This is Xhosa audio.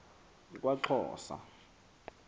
kwaxhosa